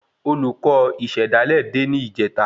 Olùkọ ìsèdálè dé ni ìjeta